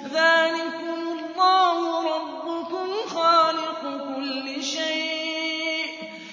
ذَٰلِكُمُ اللَّهُ رَبُّكُمْ خَالِقُ كُلِّ شَيْءٍ